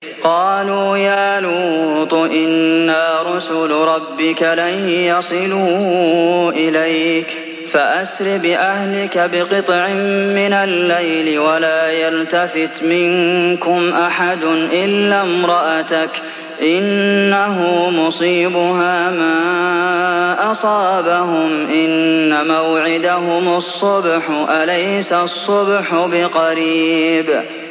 قَالُوا يَا لُوطُ إِنَّا رُسُلُ رَبِّكَ لَن يَصِلُوا إِلَيْكَ ۖ فَأَسْرِ بِأَهْلِكَ بِقِطْعٍ مِّنَ اللَّيْلِ وَلَا يَلْتَفِتْ مِنكُمْ أَحَدٌ إِلَّا امْرَأَتَكَ ۖ إِنَّهُ مُصِيبُهَا مَا أَصَابَهُمْ ۚ إِنَّ مَوْعِدَهُمُ الصُّبْحُ ۚ أَلَيْسَ الصُّبْحُ بِقَرِيبٍ